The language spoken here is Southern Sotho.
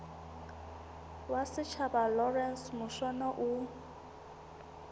wa setjhaba lawrence mushwana o